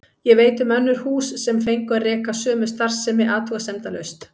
Ég veit um önnur hús sem fengu að reka sömu starfsemi athugasemdalaust.